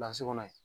kɔnɔ yen